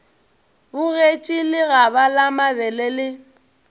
bogetše lekgaba la mabele le